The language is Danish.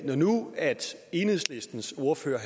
når nu enhedslistens ordfører